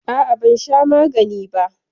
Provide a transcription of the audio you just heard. A'a, ban sha magani ba.